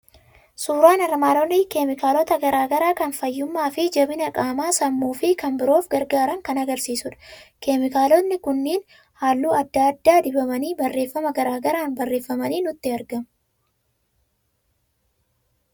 Suuraan armaan olii keemikaalota garaa garaa kan fayyummaa fi jabina qaama, sammuu fi kan biroof gargaaran kan argisiisudha. Keemikaalotni kun halluu adda addaan dibamanii, barreeffama garaa garaan barreeffamanii nutti argamu.